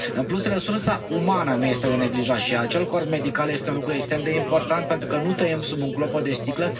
În plus, resursa umană nu este de neglijat și acel corp medical este un lucru extrem de important, pentru că nu trăim sub un clopot de sticlă.